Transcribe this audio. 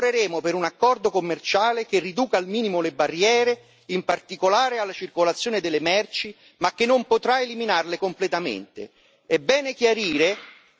Se così non sarà, lavoreremo per un accordo commerciale che riduca al minimo le barriere, in particolare alla circolazione delle merci, ma che non potrà eliminarle completamente.